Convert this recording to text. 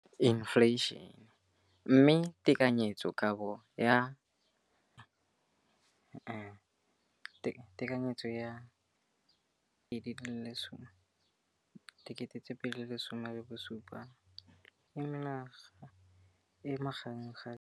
Infleišene, mme tekanyetsokabo ya 2017, 18, e magareng ga R6.4 bilione.